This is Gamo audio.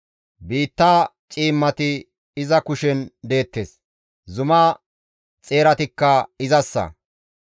Biitta ciimmati iza kushen deettes; zuma xeeratikka izassa.